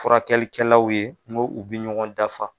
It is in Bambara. Furakɛlikɛlaw ye nko u bɛ ɲɔgɔn dafa.